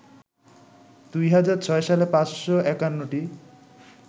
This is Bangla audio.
২০০৬ সালে ৫৫১টি